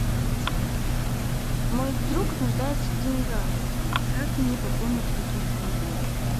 мой друг нуждается в деньгах как мне пополнить его телефон